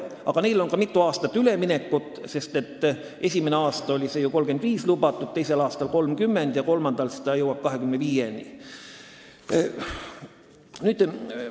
Aga neil on mitu aastat aega üleminekuks, sest esimesel aastal on lubatud 35%, teisel aastal 30% ja kolmandal aastal jõuab see maks 25%-ni.